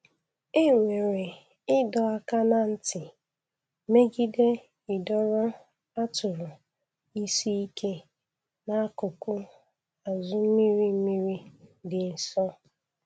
Enwere ịdọ aka ná ntị megide ịdọrọ atụrụ isi ike n'akụkụ azụ mmiri mmiri dị nsọ.